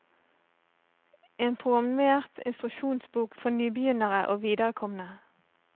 En programmert instruksjonsbok for nybegynnere og viderekomne.